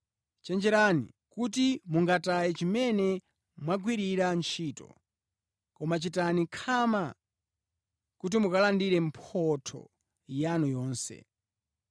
Chenjerani kuti mungataye chimene mwagwirira ntchito, koma chitani khama kuti mukalandire mphotho yanu yonse.